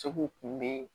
Segu kun bɛ yen